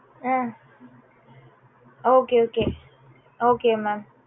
ah okay okay okay mam